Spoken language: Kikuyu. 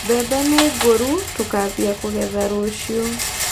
Mbembe nĩngũrũ, tũkambia kũgetha rũciũ.